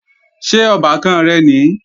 Ṣé ọbàkan rẹ̀ nìí?